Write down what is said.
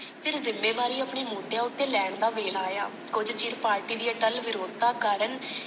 ਫਿਰ ਜ਼ਿਮੇਵਾਰੀ ਆਪਣੇ ਮੋਢਿਆਂ ਉਤੇ ਲੈਣ ਦਾ ਵਿਹਲ ਆਇਆ ਕੁੱਝ ਚਿਰ party ਦੀ ਅਟੱਲ ਵਿਰੌਧ ਦਾ ਕਾਰਨ।